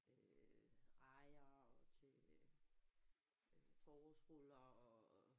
Øh rejer og til øh forårsruller og